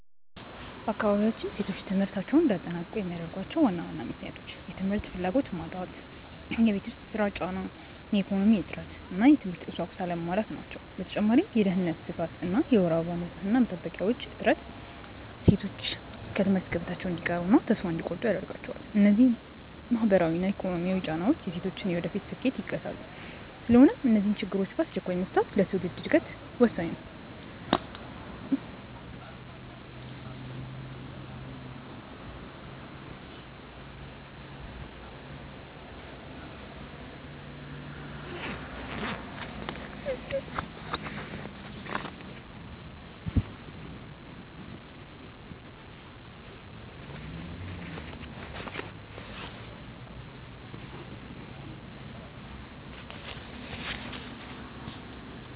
በአካባቢያችን ሴቶች ትምህርታቸውን እንዳያጠናቅቁ የሚያደርጓቸው ዋና ዋና ምክንያቶች፦ የ ትምህርት ፍላጎት መጣት የቤት ውስጥ ሥራ ጫና፣ የኢኮኖሚ እጥረት እና የትምህርት ቁሳቁስ አለመሟላት ናቸው። በተጨማሪም የደህንነት ስጋት እና የወር አበባ ንፅህና መጠበቂያዎች እጥረት ሴቶች ከትምህርት ገበታቸው እንዲቀሩና ተስፋ እንዲቆርጡ ያደርጋቸዋል። እነዚህ ማህበራዊና ኢኮኖሚያዊ ጫናዎች የሴቶችን የወደፊት ስኬት ይገታሉ። ስለሆነም እነዚህን ችግሮች በአስቸኳይ መፍታት ለትውልድ ዕድገት ወሳኝ ነው።